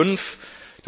und nicht 5 Mrd.